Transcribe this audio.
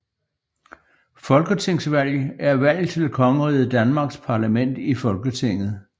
Folketingsvalg er valg til Kongeriget Danmarks parlament Folketinget